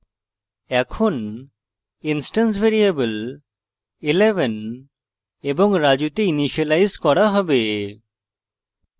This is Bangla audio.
এখন instance ভ্যারিয়েবল 11 এবং raju তে ইনিসিয়েলাইজ করা have